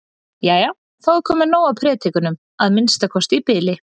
Jæja, þá er komið nóg af predikunum, að minnsta kosti í bili.